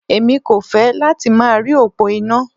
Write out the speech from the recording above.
Èmi kò fẹ́ láti máa rí òpó iná.